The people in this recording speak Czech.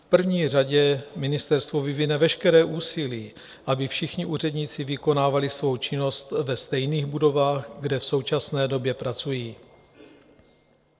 V první řadě ministerstvo vyvine veškeré úsilí, aby všichni úředníci vykonávali svou činnost ve stejných budovách, kde v současné době pracují.